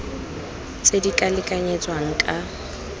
tse di ka lekanyetswang ka